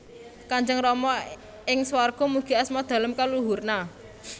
Kanjeng Rama ing swarga Mugi Asma Dalem kaluhurna